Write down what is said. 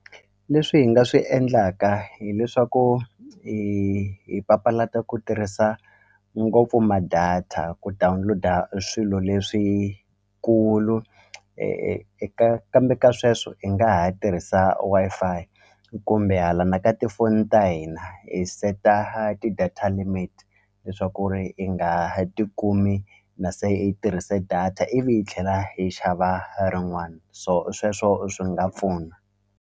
Leswi hi nga swi endlaka hileswaku hi hi papalata ku tirhisa ngopfu ma-data ku download-a swilo leswikulu eka kambe ka sweswo hi nga ha tirhisa Wi-Fi kumbe hala na ka tifoni ta hina hi seta ti-data limit leswaku ri i nga tikumi na se i tirhise data ivi hi tlhela hi xava rin'wana so sweswo swi nga pfuna.